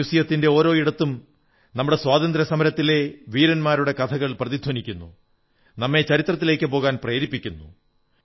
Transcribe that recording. മ്യൂസിയത്തിന്റെ ഓരോ ഇടത്തും നമ്മുടെ സ്വാതന്ത്ര്യസമരത്തിന്റെ വീരന്മാരുടെ കഥകൾ പ്രതിധ്വനിക്കുന്നു നമ്മെ ചരിത്രത്തിലേക്കു പോകാൻ പ്രേരിപ്പിക്കുന്നു